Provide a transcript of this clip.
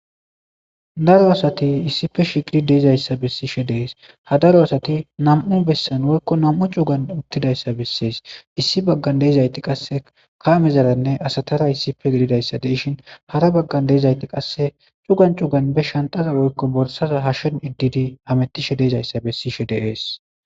Daro asati issippe shiiqi dizaysa besishe des ha daro asati nam'u besan woyko nam'u cugan utidaysa besese Issi bagan de'izati qase kamezara asatara issippe gididaysa de'eshen hara bagan de'izati qase cugan cugan be shanxara woyko borsara hashen yedidi hametishe de'izaysa beshishe de'ese